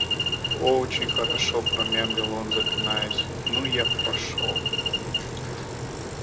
о-очень хорошо промямлил он запинаясь ну я пошёл